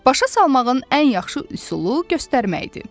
Başa salmağın ən yaxşı üsulu göstərməkdir.